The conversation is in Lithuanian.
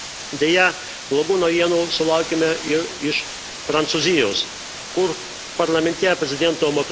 Deja, blogų naujienų sulaukėme ir iš Prancūzijos, kur parlamente prezidento E.